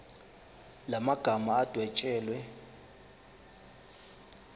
la magama adwetshelwe